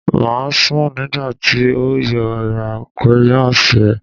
Mo sun nigba ti o yoo ra crayons rẹ